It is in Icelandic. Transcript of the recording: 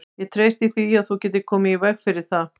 Ég treysti því, að þú getir komið í veg fyrir það